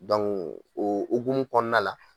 o ogumu kɔɔna la